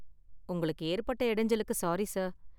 உங்களுக்கு ஏற்பட்ட இடைஞ்சலுக்கு சாரி சார்.